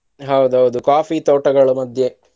ಹೌದೌದು coffee ತೋಟಗಳ ಮಧ್ಯೆ.